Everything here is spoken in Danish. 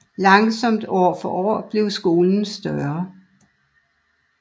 Langsomt år for år blev skolen større